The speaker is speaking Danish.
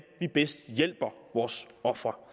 vi bedst hjælper vores ofre